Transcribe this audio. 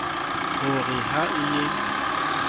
ho re ha e ye